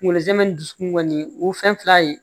Kunkolo zɛmɛ ni dusukun kɔni o fɛn fila ye